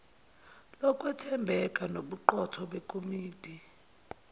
lokwethembeka nobuqotho bekomiti